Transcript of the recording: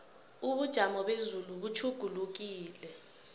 ubujamo bezulu butjhugulukile